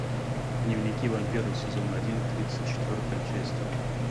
дневники вампира сезон один тридцать четвертая часть